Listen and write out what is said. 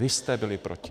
Vy jste byli proti.